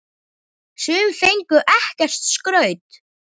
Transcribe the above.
Sum fengu ekkert skraut.